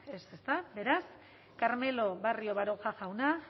ez ezta beraz carmelo barrio baroja jauna